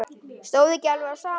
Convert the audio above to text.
Stóð ekki alveg á sama.